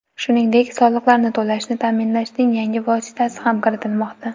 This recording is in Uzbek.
Shuningdek, soliqlarni to‘lashni ta’minlashning yangi vositasi ham kiritilmoqda.